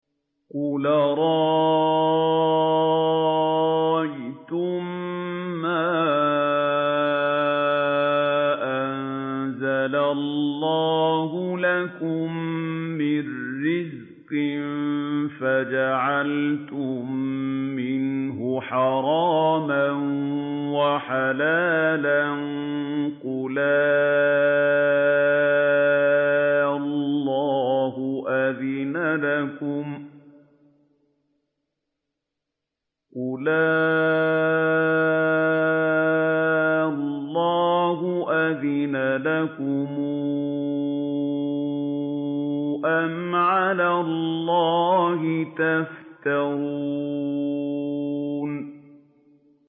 قُلْ أَرَأَيْتُم مَّا أَنزَلَ اللَّهُ لَكُم مِّن رِّزْقٍ فَجَعَلْتُم مِّنْهُ حَرَامًا وَحَلَالًا قُلْ آللَّهُ أَذِنَ لَكُمْ ۖ أَمْ عَلَى اللَّهِ تَفْتَرُونَ